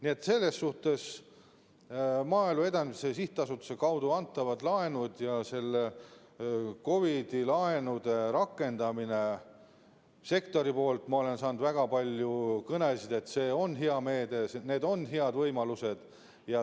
Nii et selles suhtes Maaelu Edendamise Sihtasutuse kaudu antavad laenud ja COVID-i laenude rakendamine sektoris – ma olen saanud väga palju kõnesid selle kohta, et see on hea meede ja need on head võimalused.